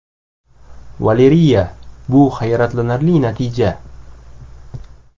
Valeriya : Bu hayratlanarli natija!